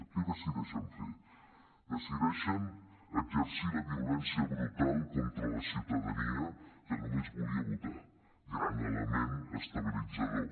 què decideixen fer decideixen exercir la violència brutal contra la ciutadania que només volia votar gran element estabilitzador